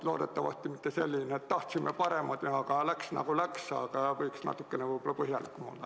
Loodetavasti mitte selline, et tahtsime paremat, aga läks nagu läks, aga võiks natukene võib-olla põhjalikum olla.